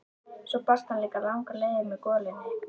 Svo barst hann líka langar leiðir að með golunni.